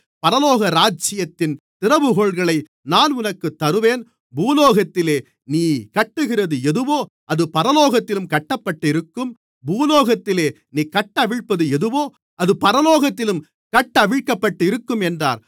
பரலோகராஜ்யத்தின் திறவுகோல்களை நான் உனக்குத் தருவேன் பூலோகத்திலே நீ கட்டுகிறது எதுவோ அது பரலோகத்திலும் கட்டப்பட்டிருக்கும் பூலோகத்திலே நீ கட்டவிழ்ப்பது எதுவோ அது பரலோகத்திலும் கட்டவிழ்க்கப்பட்டிருக்கும் என்றார்